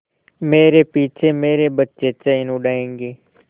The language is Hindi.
मेरे पीछे मेरे बच्चे चैन उड़ायेंगे